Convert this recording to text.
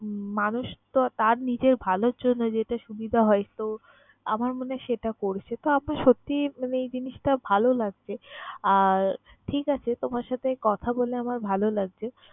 মানুষ তো তার নিজের ভালোর জন্য যেটা সুবিধা হয় তো আমার মনে হয় সেটা করছে। তো আর সত্যিই মানে এই জিনিসটা ভালো লাগছে। আর ঠিক আছে তোমার সাথে কথা বলে আমার ভালো লাগছে।